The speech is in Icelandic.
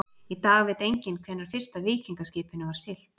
Í dag veit enginn hvenær fyrsta víkingaskipinu var siglt.